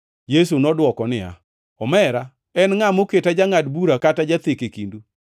Yesu nodwoko niya, “Omera en ngʼa moketa jangʼad bura kata jathek e kindu?”